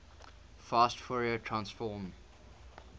fast fourier transform